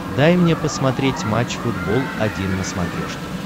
дай мне посмотреть матч футбол один на смотрешке